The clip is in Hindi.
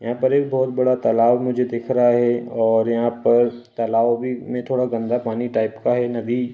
यहाँ पर एक बोहोत बड़ा तालाब मुझे दिख रहा है और यहाँ पर तालाब भी में थोड़ा गंदा पानी टाइप का है। नदी --